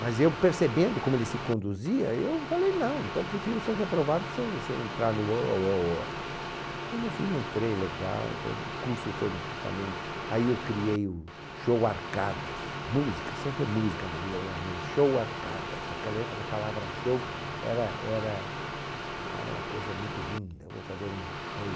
Mas eu percebendo como ele se conduzia, eu falei, não, então prefiro ser reprovado sem sem entrar no oh ohoh oh... E no fim entrei, legal, foi um curso foi também... Aí eu criei o Show Arcadas, música, sempre é música na vida da gente, Show Arcadas, naquela época a palavra show era era, ah era uma coisa muito linda, eu vou fazer um show...